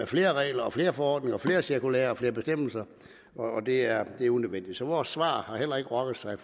flere regler og flere forordninger og flere cirkulærer og flere bestemmelser og det er det er unødvendigt så vores svar har heller ikke rokket sig i